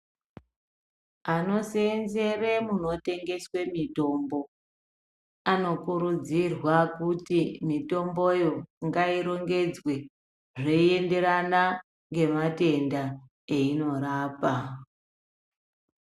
Anoseenzere munotengeswe mitombo anokurudzirwa kuti mitomboyo ngayirongedzwe zveyienderana ngematenda eyinorapa.